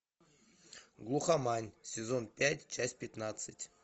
глухомань сезон пять часть пятнадцать